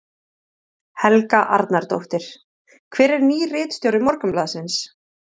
Helga Arnardóttir: Hver er nýr ritstjóri Morgunblaðsins?